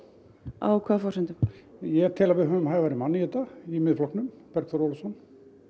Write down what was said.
á hvaða forsendum ég tel að við höfum hæfari mann í þetta í Miðflokknum Bergþór Ólason